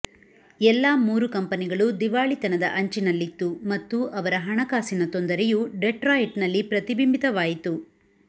ಎಲ್ಲಾ ಮೂರು ಕಂಪನಿಗಳು ದಿವಾಳಿತನದ ಅಂಚಿನಲ್ಲಿತ್ತು ಮತ್ತು ಅವರ ಹಣಕಾಸಿನ ತೊಂದರೆಯು ಡೆಟ್ರಾಯಿಟ್ನಲ್ಲಿ ಪ್ರತಿಬಿಂಬಿತವಾಯಿತು